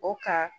O ka